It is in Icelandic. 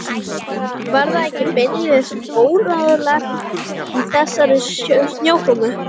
Var það ekki beinlínis óráðlegt í þessari snjókomu?